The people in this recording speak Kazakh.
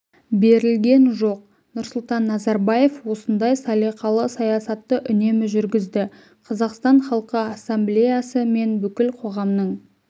берілген жоқ нұрсұлтан назарбаев осындай салиқалы саясатты үнемі жүргізді қазақстан халқы ассамблеясы мен бүкіл қоғамның